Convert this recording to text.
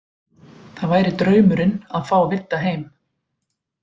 Það væri draumurinn að fá Vidda heim.